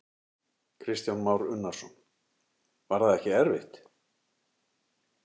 Kristján Már Unnarsson: Var það ekkert erfitt?